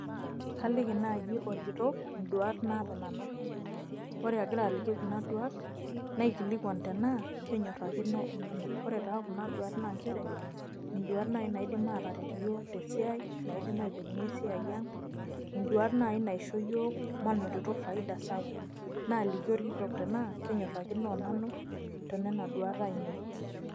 Kaliki naaji orkitok, induat naata nanu. Wore akira aliki kuna duat, naikilikuan tenaa kenyorrakino onanu. Ore taa kuna duat naa nchere, induat naai naidim ateret iyiok tesiai, naidim ailepunyie esiai ang'. Induat naai naishoo iyiok mainotito faida sapuk. Naaliki orkitok tenaa, kenyorrakino onanu teniana duat aiinei.